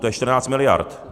To je 14 miliard.